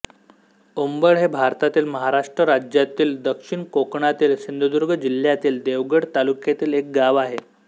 ओंबळ हे भारतातील महाराष्ट्र राज्यातील दक्षिण कोकणातील सिंधुदुर्ग जिल्ह्यातील देवगड तालुक्यातील एक गाव आहे